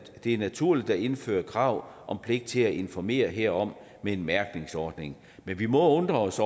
det er naturligt at indføre krav om pligt til at informere herom med en mærkningsordning men vi må undre os